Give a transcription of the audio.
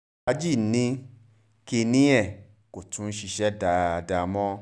aláàjì ni wọ́n ní kínní ẹ̀ kó tún ṣiṣẹ́ dáadáa mọ́